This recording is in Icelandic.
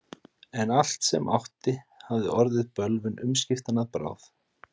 En allt sem hann átti hafði orðið bölvun umskiptanna að bráð.